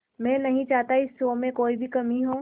मैं नहीं चाहता इस शो में कोई भी कमी हो